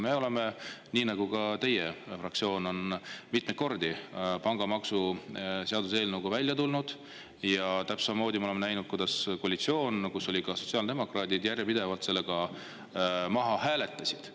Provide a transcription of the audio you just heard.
Me oleme, nii nagu ka teie fraktsioon on mitmeid kordi, pangamaksu seaduseelnõuga välja tulnud ja täpselt samamoodi me oleme näinud, kuidas koalitsioon, kus olid ka sotsiaaldemokraadid, on järjepidevalt selle maha hääletanud.